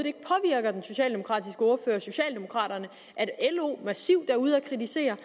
socialdemokraterne at lo massivt er ude at kritisere